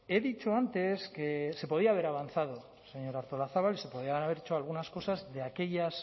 he dicho antes que se podía haber avanzado señora artolazabal se podían haber hecho algunas cosas de aquellas